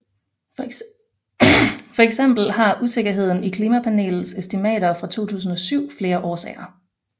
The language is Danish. For eksempel har usikkerheden i klimapanelets estimater fra 2007 flere årsager